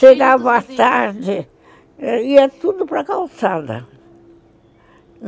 Chegava a tarde, ia tudo para calçada.